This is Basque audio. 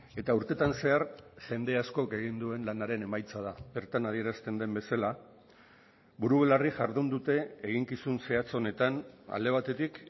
eta urtetan zehar jende askok egin duen lanaren emaitza da bertan adierazten den bezala buru belarri jardun dute eginkizun zehatz honetan alde batetik